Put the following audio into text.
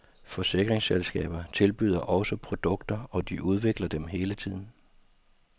Forsikringsselskaber tilbyder også produkter, og de udvikler dem hele tiden.